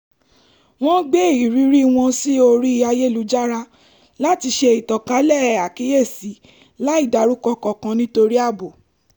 wọ́n gbé irírí wọn sí orí ayélujára láti ṣe ìtànkálẹ̀ àkíyèsi láì dárúkọ kankan nítorí ààbò